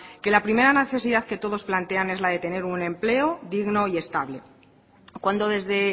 que la primera necesidad que todos plantean es la tener un empleo digno y estable cuando desde